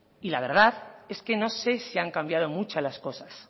y la verdad es que no sé si han cambiado mucho las cosas